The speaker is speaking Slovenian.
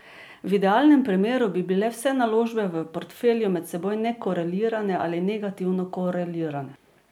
V idealnem primeru bi bile vse naložbe v portfelju med seboj nekorelirane ali negativno korelirane.